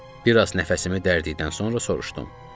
Bir az nəfəsimi dərdiydən sonra soruşdum: